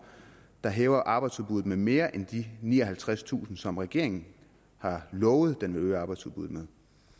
der hæver arbejdsudbuddet med mere end de nioghalvtredstusind som regeringen har lovet at den vil øge arbejdsudbuddet med